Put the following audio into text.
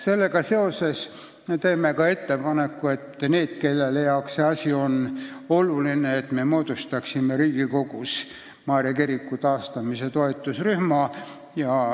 Sellega seoses me teeme ka ettepaneku – need, kelle jaoks see asi on oluline – moodustada Riigikogus Maarja kiriku taastamise toetusrühm.